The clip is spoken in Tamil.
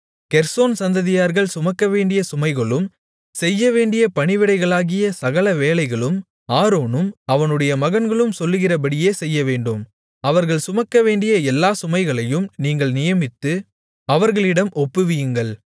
கெர்சோன் சந்ததியார்கள் சுமக்கவேண்டிய சுமைகளும் செய்யவேண்டிய பணிவிடைகளாகிய சகல வேலைகளும் ஆரோனும் அவனுடைய மகன்களும் சொல்லுகிறபடியே செய்யவேண்டும் அவர்கள் சுமக்கவேண்டிய எல்லா சுமைகளையும் நீங்கள் நியமித்து அவர்களிடம் ஒப்புவியுங்கள்